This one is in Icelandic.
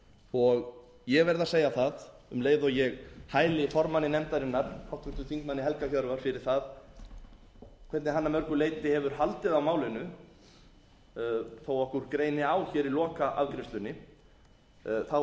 og ég verð að segja það um leið og ég hæli formanni nefndarinnar háttvirtum þingmanni helga hjörvar fyrir það hvernig hann að mörgu leyti hefur haldið á málinu þó að okkur greini á hér í lokaafgreiðslunni tel ég að